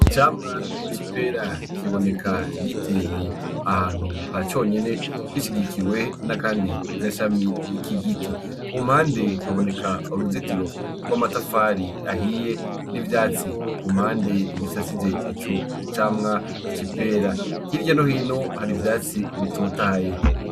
Icamwa c'ipera kiboneka giteye ahantu haconyene gishigikiwe n'akandi gashami k'igiti, ku mpande haboneka uruzitiro rw'amatafari ahiye, n'ivyatsi ku mpande bisasije ico camwa c'ipera, hirya no hino hari ivyatsi bitotahaye.